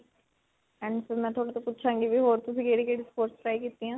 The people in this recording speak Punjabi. and ਫਿਰ ਮੈਂ ਤੁਹਾਡੇ ਤੋਂ ਪੁੱਛਾਂਗੀ ਵੀ ਹੋਰ ਤੁਸੀਂ ਕਿਹੜੀ-ਕਿਹੜੀ sports try ਕੀਤੀਆਂ.